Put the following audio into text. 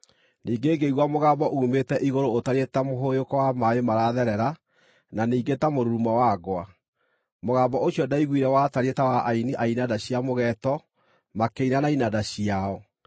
Ningĩ ngĩigua mũgambo uumĩte igũrũ ũtariĩ ta mũhũyũko wa maaĩ maratherera na ningĩ ta mũrurumo wa ngwa. Mũgambo ũcio ndaiguire watariĩ ta wa aini a inanda cia mũgeeto makĩina na inanda ciao.